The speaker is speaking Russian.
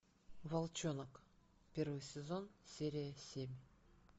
волчонок первый сезон серия семь